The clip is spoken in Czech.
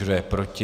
Kdo je proti?